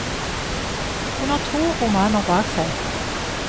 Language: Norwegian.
Hun har to romaner bak seg.